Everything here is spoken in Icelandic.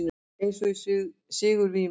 Eins og í sigurvímu.